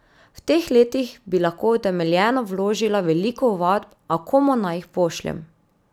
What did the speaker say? V teh letih bi lahko utemeljeno vložila veliko ovadb, a komu naj jih pošljem?